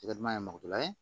I ka duman ye mɔgɔ ye